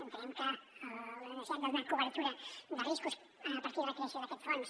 entenem que la necessitat de donar cobertura de riscos a partir de la creació d’aquest fons